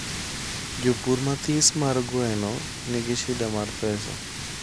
Japur mathis mar gweno nigishida mar pesa